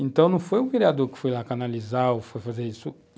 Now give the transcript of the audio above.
Então, não foi o vereador que foi lá canalizar ou foi fazer isso.